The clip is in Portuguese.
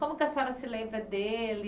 Como é que a senhora se lembra dele?